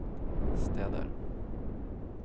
steder